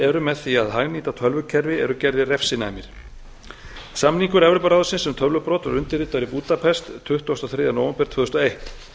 eru með því að hagnýta tölvukerfi eru gerðir refsinæmir samningur evrópuráðsins tölvubrot voru undirritaðir í búdapest tuttugasta og þriðja nóvember tvö þúsund og eitt